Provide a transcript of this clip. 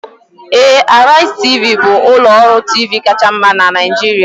Ee, Arise Tv, bụ ụlọ ọrụ TV kacha mma na Nigeria